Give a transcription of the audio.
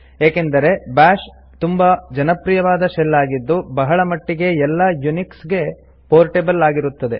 ಏಕೆಂದರೆ ಬಾಶ್ ತುಂಬಾ ಜನಪ್ರಿಯವಾದ ಶೆಲ್ ಆಗಿದ್ದು ಬಹಳ ಮಟ್ಟಿಗೆ ಎಲ್ಲ ಯುನಿಕ್ಸ್ ಗೆ ಪೋರ್ಟೆಬಲ್ ಆಗಿರುತ್ತದೆ